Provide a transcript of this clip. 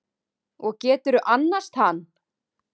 Og geturðu annast hann?